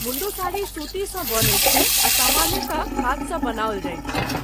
मुण्डु साड़ी सूतीसँ बनैत छै आ सामान्यतः हाथसँ बनाओल जाइत छै।